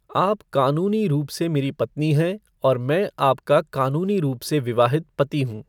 आप कानूनी रूप से मेरी पत्नी हैं और मैं आपका कानूनी रूप से विवाहित पति हूँ।